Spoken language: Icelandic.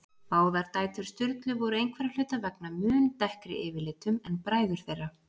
Báðar dætur Sturlu voru einhverra hluta vegna mun dekkri yfirlitum en bræður þeirra.